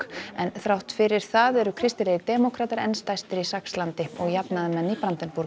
en þrátt fyrir það eru kristilegir demókratar enn stærstir í Saxlandi og jafnaðarmenn í